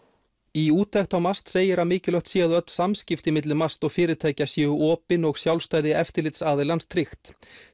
í úttekt á MAST segir að mikilvægt sé að öll samskipti milli MAST og fyrirtækja séu opin og sjálfstæði eftirlitsaðilans tryggt